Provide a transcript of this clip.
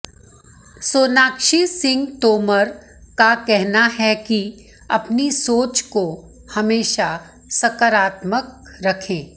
सोनाक्षी सिंह तोमर का कहना है कि अपनी सोच को हमेशा सकारात्मक रखें